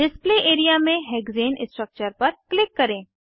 display area में hexane structure पर click करें